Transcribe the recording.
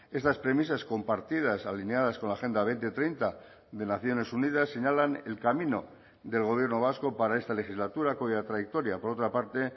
estas premisas compartidas alineadas con la agenda dos mil treinta de naciones unidas señalan el camino del gobierno vasco para esta legislatura cuya trayectoria por otra parte